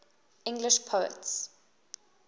english poets